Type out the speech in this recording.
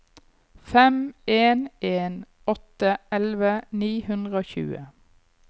fem en en åtte elleve ni hundre og tjue